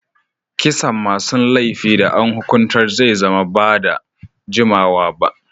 Kisan masun laifi da an hukuntar zai zama ba'da jimawa ba.